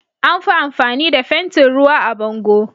Anfi amfani da fentin ruwa a bango